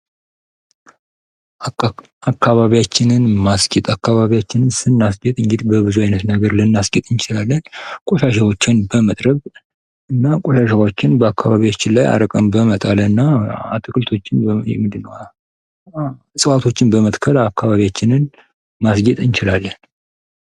አካባቢያችንን ማስጌጥ አካባቢያችንን ስናስጌጥ እንግዲህ በብዙ አይነት ነገር ልናስጌጥ እንችላለን። ቆሻሻዎችን በመጥረግ እና ቆሻሻዎችን ከአካባቢያችን ላይ አርቀን በመጣልና አትክልቶችን ወይም ደግሞ እጽዋቶችን በመትከል አካባቢያችንን ማስጌጥ እንችላለን።